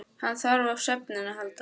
Hann þarf á svefninum að halda.